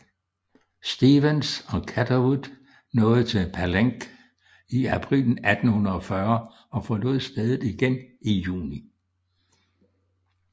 Stephens og Catherwood nåede til Palenque i april 1840 og forlod stedet igen i juni